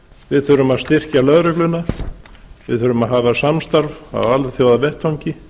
við þurfum að styrkja lögregluna við þurfum að hafa samstarf á alþjóðavettvangi